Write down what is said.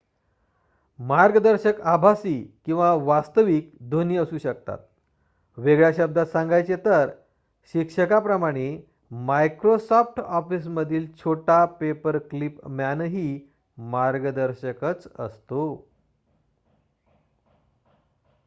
मार्गदर्शक आभासी किंवा वास्तविक दोन्ही असू शकतात वेगळ्या शब्दांत सांगायचे तर शिक्षकाप्रमाणे मायक्रोसॉफ्ट ऑफिसमधील छोटा पेपरक्लिप मॅनही मार्गदर्शकच असतो